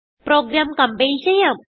programme compile ചെയ്യാം